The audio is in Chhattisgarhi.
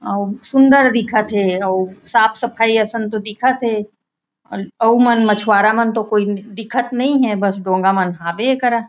अउ सुन्दर दिखत थे अउ साफ-सफाई असन तो दिखत थे अउ मन मछुवारा मन तो कोई दिखत तो नई हे बस डोंगा मन हाबे ए करा।